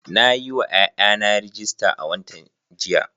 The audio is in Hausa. Na yi wa ’ƴa’ƴana rajista a watan jiya.